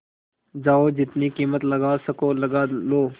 जाओ जितनी कीमत लगवा सको लगवा लो